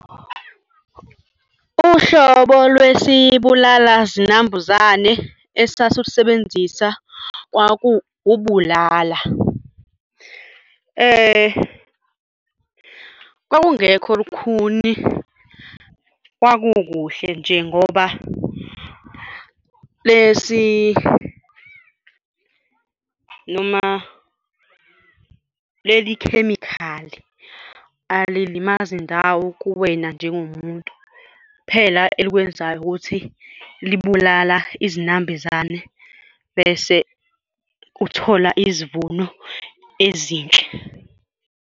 Uhlobo lwesibulala zinambuzane esasuwusebenzisa kwaku ubulala. Kwakungekho lukhuni kwakukuhle nje ngoba lesi noma leli khemikhali alilimazi ndawo kuwena njengomuntu, kuphela elikwenzayo ukuthi libulala izinambuzane bese uthola izivuno ezinhle.